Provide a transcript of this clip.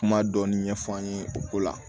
Kuma dɔɔnin ɲɛf'an ye o ko la